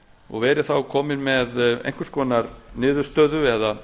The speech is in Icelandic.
og verið þá komin með einhvers konar niðurstöðu eða